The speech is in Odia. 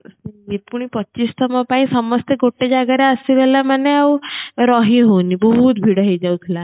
ପଚିଶ ତମ ପାଇଁ ସମସ୍ତେ ଗୋଟେ ଜାଗାରେ ଆସିଗଲା ମାନେ ଆଉ ରହି ହଉନି ବହୁତ ଭିଡ ହେଇ ଯାଉଥିଲା